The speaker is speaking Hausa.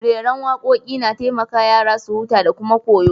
Reran wakoki na taimaka yara su huta da kuma koyo.